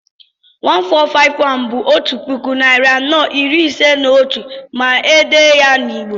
1451 bú 'otu puku, narị anọ, iri ise na otú' ma èdèe ya n'Igbo